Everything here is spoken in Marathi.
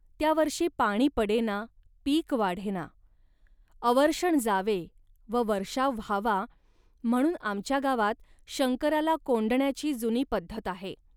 त्या वर्षी पाणी पडेना, पीक वाढेना. अवर्षण जावे व वर्षाव व्हावा, म्हणून आमच्या गावात शंकराला कोंडण्याची जुनी पद्धत आहे